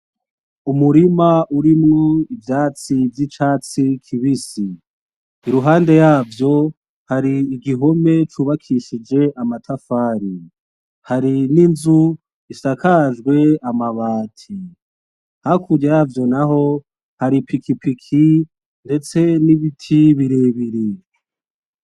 Umurima urimwo ivyatsi biibisi .Iruhande yavyo hari igihome cubakishijwe amatafari. Hari n'inzu ishakajwe amabati. Hakurya yavyo naho hari ipikipiki ndetse n'ibiti birebire.